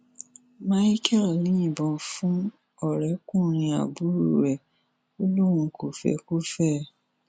micheal yìnbọn fún ọrẹkùnrin àbúrò ẹ ò lóun kò fẹ kó fẹ ẹ